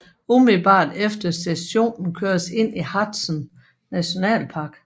Umiddelbart efter stationen køres ind i Harzen Nationalpark